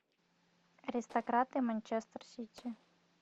аристократы манчестер сити